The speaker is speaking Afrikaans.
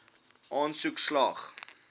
aansoek slaag